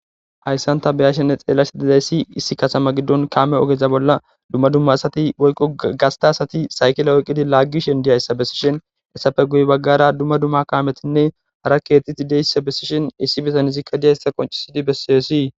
hayssan ta beyashenne xeelasi dizayssi issi kasama giddon kaame ogeza bolla dumma dumma asati woyqo gasta asati saykila oyqqidi laaggishin diyayssa bessishin essafe guy baggara dumma dumma kaametinne hara keexiti deyssa bessishin issi besanizikka diyayssa qoncisidi besseesii